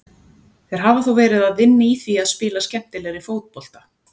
Þeir hafa þó verið að vinna í því að spila skemmtilegri fótbolta.